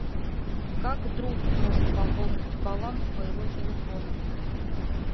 как друг может пополнить баланс моего телефона